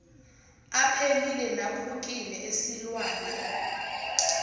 aphelile naphukile esilwane